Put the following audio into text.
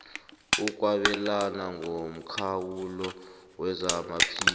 ukwabelana ngomkhawulo wezamaphilo